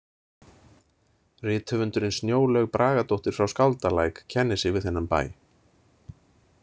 Rithöfundurinn Snjólaug Bragadóttir frá Skáldalæk kennir sig við þennan bæ.